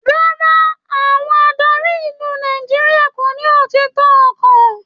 Rárá, àwọn adarí ìlú Nàìjíríà kò ní òtítọ ọkan.